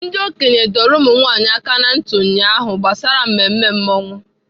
Ndị okenye dọrọ ụmụnwaanyị aka na ntị ụnyaahụ gbasara mmemme masquerade.